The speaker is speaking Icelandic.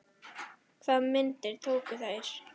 Hvaða myndir tóku þeir?